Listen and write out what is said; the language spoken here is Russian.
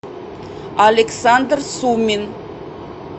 александр сумин